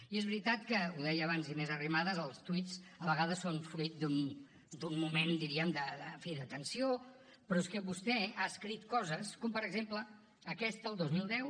i és veritat que ho deia abans inés arrimadas els tuits a vegades són fruit d’un moment diríem en fi de tensió però és que vostè ha escrit coses com per exemple aquesta el dos mil deu